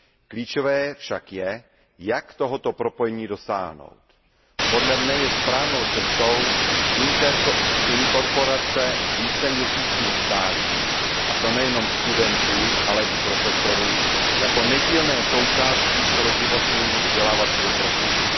Klíčové však je, jak tohoto propojení dosáhnout. Podle mne je správnou cestou inkorporace víceměsíčních stáží, a to nejenom studentů, ale i profesorů jako nedílné součásti celoživotního vzdělávacího procesu.